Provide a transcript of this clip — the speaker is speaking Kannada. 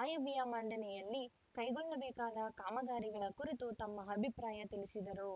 ಆಯವ್ಯಯ ಮಂಡನೆಯಲ್ಲಿ ಕೈಗೊಳ್ಳಬೇಕಾದ ಕಾಮಗಾರಿಗಳ ಕುರಿತು ತಮ್ಮ ಅಭಿಪ್ರಾಯ ತಿಳಿಸಿದರು